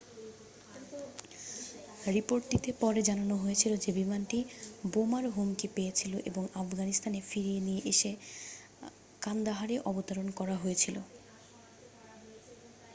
রিপোর্টটিতে পরে জানানো হয়েছিল যে বিমানটি বোমার হুমকি পেয়েছিল এবং আফগানিস্তানে ফিরিয়ে নিয়ে এসে কান্দাহারে অবতরণ করা হয়েছিল